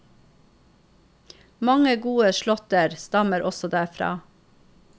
Mange gode slåtter stammer også derfra.